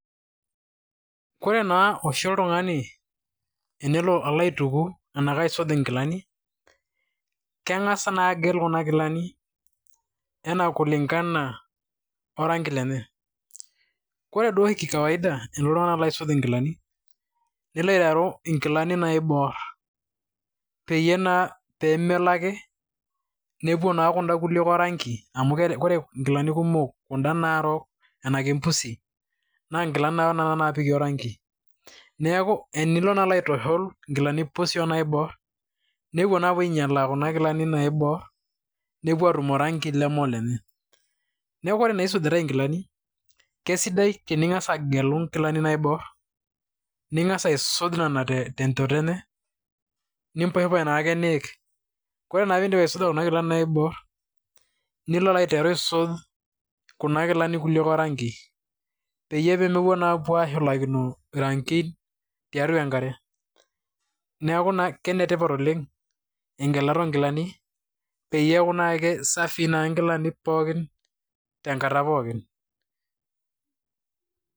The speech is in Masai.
Koree naa oshi oltungani tenelo alo aituku enaa aisuj inkilani, keng'as naa agel inkilani enaa kulingana oranki lenye. Ore duo oshi kikawaida oo ltungana oisuj inkilani, ilo aiteru inkilani naiborr pemelo ake nepuo naa kuda kulie oranki, amu ore nkilani kumok, kuda naarok ena kempusi, naa nkilani naa nena napiki oranki. Neeku tenilo naa alo aitushul nkilani pusi wo naiborr, nepuo naa apuo ainyal kuna kilanik naibor, nepuo atum aranki leme olenye. Neeku ore naa isujitai nkilani , keisidai tening'as agelu inkilani naibor, ning'as aisuj nena nenchoto enye, niposhiposh naake niik. Koree na piidip aisuja kuna kilanik naiborr nilo naa aiteru aisuj kuna kilanik kulie oranki, peyie mepuo naa ashulakino rankin tiatua enkare. Neeku naa kenetipat oleng' egelata oonkilanik ,peyie eeku naake safi inkalanik pookin tenkata pookin.